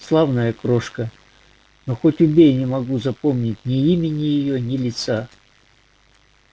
славная крошка но хоть убей не могу запомнить ни имени её ни лица